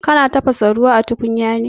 Kana tafasa ruwa a tukunya ne?